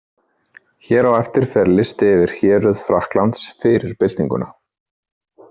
Hér á eftir fer listi yfir héruð Frakklands fyrir byltinguna.